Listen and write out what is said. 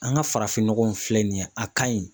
An ka farafin nɔgɔ in filɛ nin ye a ka ɲi